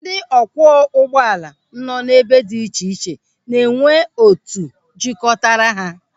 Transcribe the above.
Ndị ọ kwụọ ụgbọala nọ n'ebe dị iche iche na-enwe otu jikọtara ha.